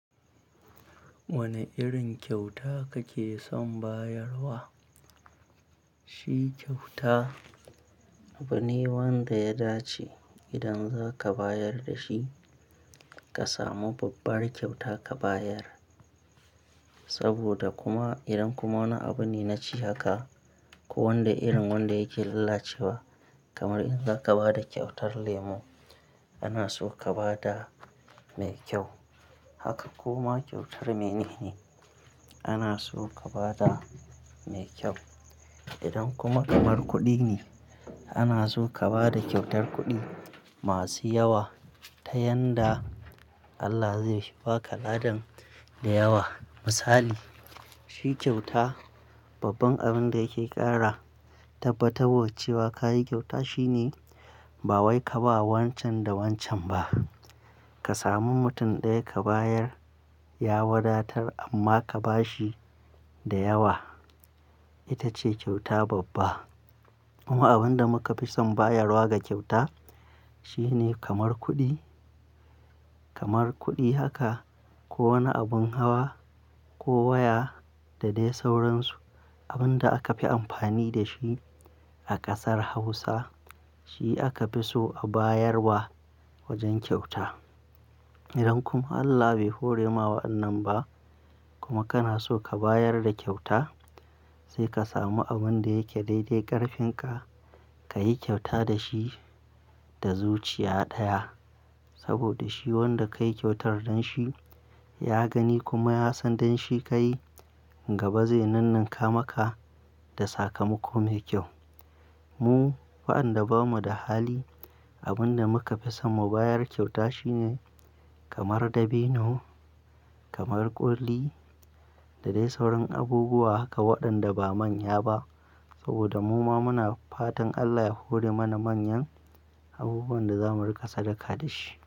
Wane irin kyauta kake son bayarwa? Shi kyauta abu ne wanda ya dace idan zaka bayar da shi ka samu babbar kyauta ka bayar. Saboda kuma idan kuma wani abu ne na ci haka ko wanda irin wanda yake lalacewa kamar in zaka ba da kyautar lemu ana so ka ba da mai kyau. Haka kuma kyautar mene ne ana so ka ba da mai kyau. Idan kuma kamar kuɗi ne ana so ka ba da kyautar kuɗi masu yawa ta yanda Allah zai ba ka ladan da yawa. Misali, shi kyauta babban abin da yake ƙara tabbatarwa cewa ka yi kyauta shine ba wai ka ba wancan da wancan ba. Ka samu mutum ɗaya ka bayar ya wadatar amma ka ba shi da yawa. Ita ce kyauta babba. Kuma abin da muka fi son bayarwa ga kyauta shine kamar kuɗi, kamar kuɗi haka ko wani abun hawa ko waya da dai sauransu. Abin da aka fi amfani da shi a ƙasar Hausa shi aka fi so a bayar wa wajen kyauta. Idan kuma Allah bai hore ma wa'annan ba kuma kana so ka bayar da kyauta sai ka samu abin da yake daidai ƙarfin ka, ka yi kyauta da shi da zuciya ɗaya. Saboda shi wanda ka yi kyautar don shi ya gani kuma ya san don shi ka yi gaba zai nunnunka maka da sakamako mai kyau. Mu wa'anda bamu da hali abin da muka fi son mu bayar kyauta shi ne kamar dabino, kamar ƙuli da dai sauran abubuwa haka waɗanda ba manya ba. Saboda muma muna fatan Allah ya hore mana manyan abubuwan da zamu rika sadaka da shi.